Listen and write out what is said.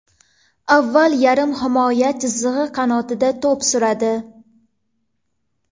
Avval yarim himoya chizig‘i qanotida to‘p suradi.